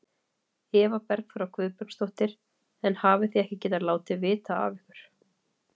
Eva Bergþóra Guðbergsdóttir: En hafið þið ekki getað látið vita af ykkur?